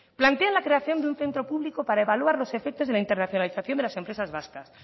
plantean la creación de un centro público para evaluar los efectos de la internacionalización de las empresas vascas